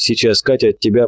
сейчас катя тебя